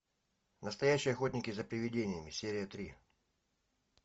настоящие охотники за привидениями серия три